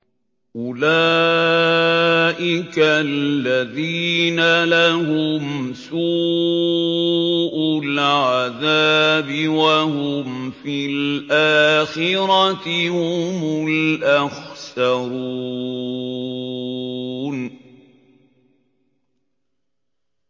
أُولَٰئِكَ الَّذِينَ لَهُمْ سُوءُ الْعَذَابِ وَهُمْ فِي الْآخِرَةِ هُمُ الْأَخْسَرُونَ